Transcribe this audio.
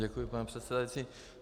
Děkuji, paní předsedající.